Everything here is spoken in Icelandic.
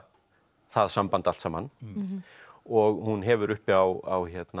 það samband allt saman og hún hefur uppi á